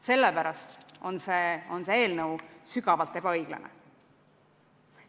Sellepärast on see eelnõu sügavalt ebaõiglane.